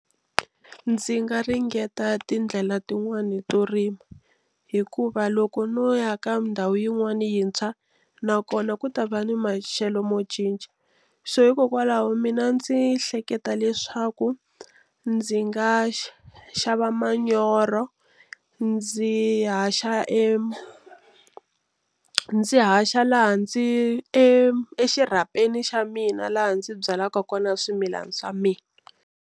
Ndzi nga ringeta tindlela tin'wani to rima hikuva loko no ya ka ndhawu yin'wana yintshwa nakona ku ta va ni maxelo mo cinca so hikokwalaho mina ndzi hleketa leswaku ndzi nga xava manyoro ndzi haxa e ndzi haxa laha ndzi exirhapeni xa mina laha ndzi byalaka kona swimilana swa mina.